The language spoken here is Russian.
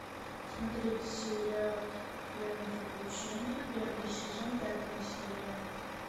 смотреть сериал время приключений первый сезон пятая серия